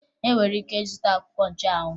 Ị nwere ike ịzụta akwụkwọ nchụanwụ